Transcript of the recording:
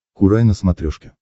курай на смотрешке